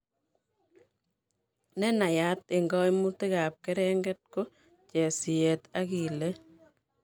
Nenaiyaat eng' kaimutik ab kerenget ko chiseet ak ileet